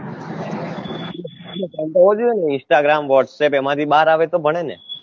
time તો હોવો જોઈએ ને instagramwhatsapp એમાં થી બાર આવેને તો ભણેને